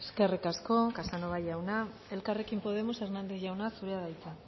eskerrik asko casanova jauna elkarrekin podemos hernández jauna zurea da hitza